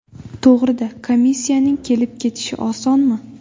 To‘g‘ri-da, komissiyaning kelib-ketishi osonmi?